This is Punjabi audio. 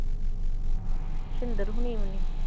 ਸਿੰਦਰ ਹੋਣੀਂ ਵੀ ਨੀ।